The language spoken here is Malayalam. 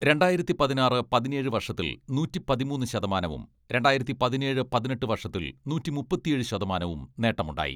രണ്ടായിരത്തി പതിനാറ്, പതിനേഴ് വർഷത്തിൽ നൂറ്റി പതിമൂന്ന് ശതമാനവും രണ്ടായിരത്തി പതിനേഴ്, പതിനെട്ട് വർഷത്തിൽ നൂറ്റി മുപ്പത്തിയേഴ് ശതമാനവും നേട്ടമുണ്ടായി.